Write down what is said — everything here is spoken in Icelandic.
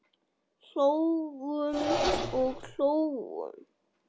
Hlógum og hlógum.